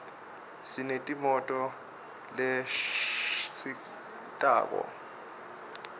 sineti moto leshambatqato